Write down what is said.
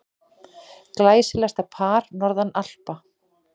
Glæsilegasta par norðan Alpa.